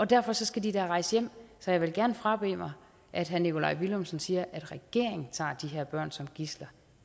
derfor skal de da rejse hjem så jeg vil gerne frabede mig at herre nikolaj villumsen siger at regeringen tager de her børn som gidsler